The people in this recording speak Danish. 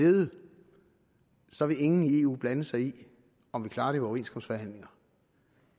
nede så vil ingen i eu blande sig i om vi klarer det ved overenskomstforhandlinger